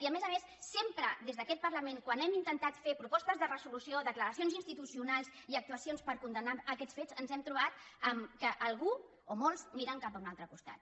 i a més a més sempre des d’aquest parlament quan hem intentat fer propostes de resolució declaracions institucionals i actuacions per condemnar aquests fets ens hem trobat que algú o molts miren cap a un altre costat